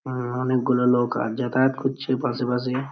উমম অনেকগুলো নৌকা যাতায়াত করছে পাশেপাশে ।